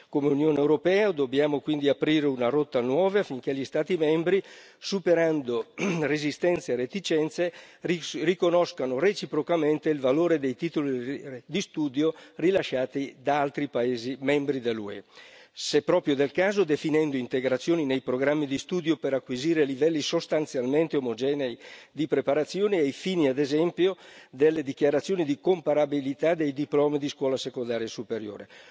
Come Unione europea dobbiamo quindi aprire una rotta nuova affinché gli Stati membri, superando resistenze e reticenze, riconoscano reciprocamente il valore dei titoli di studio rilasciati da altri paesi membri dell'UE, se proprio del caso definendo integrazioni nei programmi di studio per acquisire livelli sostanzialmente omogenei di preparazione ai fini, ad esempio, delle dichiarazioni di comparabilità dei diplomi di scuola secondaria superiore.